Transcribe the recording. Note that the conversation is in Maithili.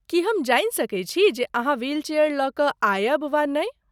की हम जानि सकैत छी जे अहाँ व्हीलचेयर लऽ कऽ आयब वा नहि?